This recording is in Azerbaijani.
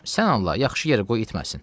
Sən Allah yaxşı yerə qoy itməsin.